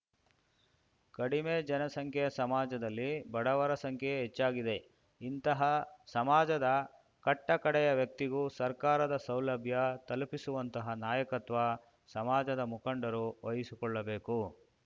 ಕಡಿಮೆ ಜನಸಂಖ್ಯೆಯ ಸಮಾಜದಲ್ಲಿ ಬಡವರ ಸಂಖ್ಯೆಯೇ ಹೆಚ್ಚಾಗಿದೆ ಇಂತಹ ಸಮಾಜದ ಕಟ್ಟಕಡೆಯ ವ್ಯಕ್ತಿಗೂ ಸರ್ಕಾರದ ಸೌಲಭ್ಯ ತಲುಪಿಸುವಂತಹ ನಾಯಕತ್ವ ಸಮಾಜದ ಮುಖಂಡರು ವಹಿಸಿಕೊಳ್ಳಬೇಕು